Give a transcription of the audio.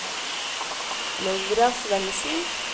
Laura Svendsen